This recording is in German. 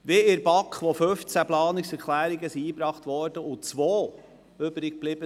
In der BaK wurden 15 Planungserklärungen eingereicht und zwei sind übrig geblieben.